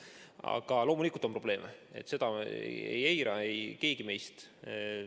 Aga loomulikult on probleeme, seda ei eita keegi meist.